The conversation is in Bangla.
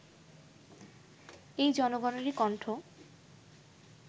এই জনগণেরই কন্ঠ